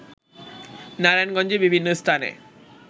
নারায়ণগঞ্জে বিভিন্ন স্থানে